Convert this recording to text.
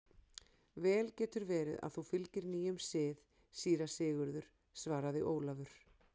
Vel getur verið að þú fylgir nýjum sið, síra Sigurður, svaraði Ólafur.